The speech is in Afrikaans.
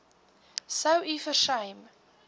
sou u versuim